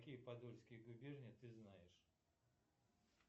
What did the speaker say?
какие подольские губернии ты знаешь